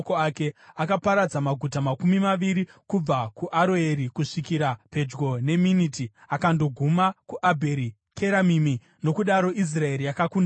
Akaparadza maguta makumi maviri kubva kuAroeri kusvikira pedyo neMiniti, akandoguma kuAbheri Keramimi. Nokudaro Israeri yakakunda Amoni.